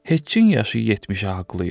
Heçqin yaşı 70-i haqlayıb.